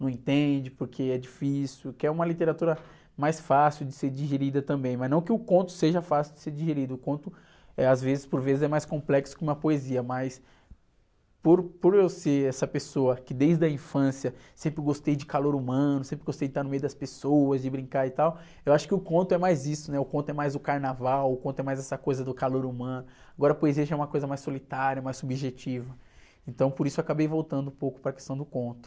não entende porque é difícil, quer uma literatura mais fácil de ser digerida também, mas não que o conto seja fácil de ser digerido, o conto, eh, às vezes, por vezes, é mais complexo que uma poesia, mas por, por eu ser essa pessoa que desde a infância sempre gostei de calor humano, sempre gostei de estar no meio das pessoas, de brincar e tal, eu acho que o conto é mais isso, né? O conto é mais o carnaval, o conto é mais essa coisa do calor humano, agora a poesia já é uma coisa mais solitária, mais subjetiva, então por isso eu acabei voltando um pouco para a questão do conto.